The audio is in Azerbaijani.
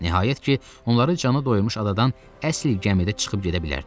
Nəhayət ki, onları cana doydurmuş adadan əsl gəmidə çıxıb gedə bilərdilər.